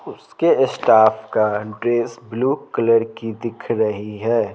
उसके स्टाफ का dress blue colour की दिख रही है।